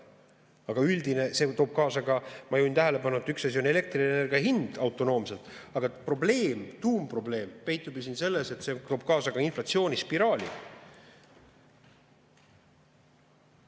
Aga see toob kaasa ka, ma juhin tähelepanu, et üks asi on elektrienergia hind autonoomselt, aga probleem, tuumprobleem peitub selles, et see toob kaasa inflatsioonispiraali.